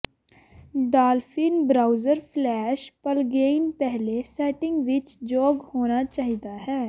dolphin browser flash plugin ਪਹਿਲੇ setting ਵਿੱਚ ਯੋਗ ਹੋਣਾ ਚਾਹੀਦਾ ਹੈ